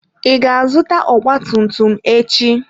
Ị ga-azụta ọgba tum tum echi.